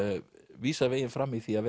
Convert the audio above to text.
vísar veginn fram í því að